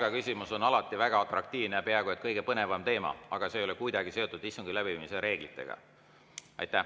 Palgaküsimus on alati väga atraktiivne, peaaegu et kõige põnevam teema, aga see ei ole kuidagi seotud istungi läbiviimise reeglitega.